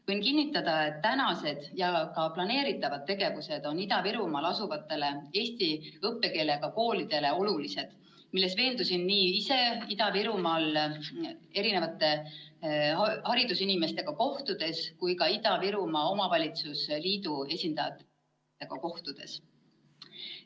Võin kinnitada, et tänased ja ka planeeritavad tegevused on Ida-Virumaal asuvatele eesti õppekeelega koolidele olulised, milles veendusin ise nii Ida-Virumaa haridusinimeste kui ka Ida-Virumaa Omavalitsuste Liidu esindajatega kohtudes.